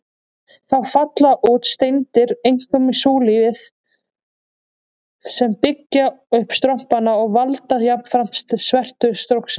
Þá falla út steindir, einkum súlfíð, sem byggja upp strompana og valda jafnframt svertu stróksins.